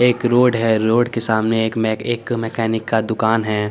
एक रोड है रोड के सामने एक में एक मैकेनिक का दुकान है।